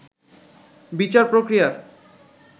বিচার প্রক্রিয়ার